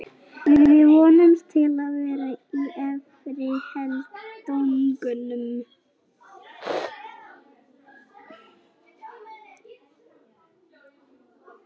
Við vonumst til að vera í efri helmingnum.